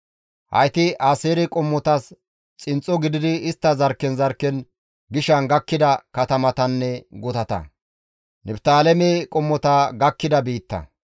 Hayti Aaseere qommotas xinxxo gididi istta zarkken zarkken gishan gakkida katamatanne gutata.